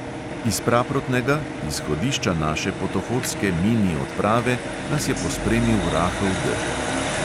Iz praprotnega, izhodišča naše potohodske mini odprave, nas je pospremil rahel dežek.